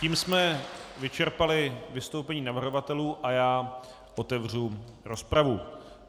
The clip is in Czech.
Tím jsme vyčerpali vystoupení navrhovatelů a já otevřu rozpravu.